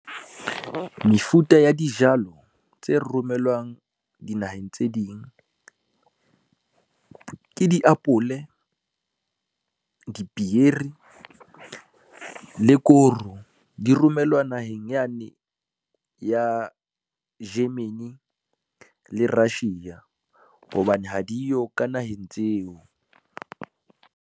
Mefuta ya dijalo tse romellwang dinaheng tse ding, ke diapole, dipieri le koro di romellwa naheng yane ya Germany le Russia, hobane ha diyo ka naheng tseo.